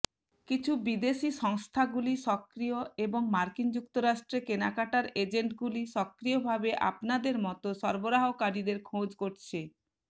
কিছু বিদেশী সংস্থাগুলি সক্রিয় এবং মার্কিন যুক্তরাষ্ট্রে কেনাকাটার এজেন্টগুলি সক্রিয়ভাবে আপনার মতো সরবরাহকারীদের খোঁজ করছে